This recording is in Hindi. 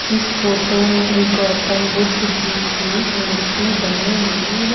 इस फोटो में एक गौतम बुद्ध जी की मूर्ति बनी हुई है।